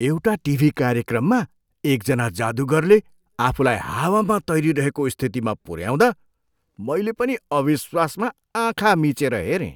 एउटा टिभी कार्यक्रममा एकजना जादुगरले आफूलाई हावामा तैरिरहेको स्थितिमा पुऱ्याउँदा मैले पनि अविश्वासमा आँखा मिचेर हेरेँ।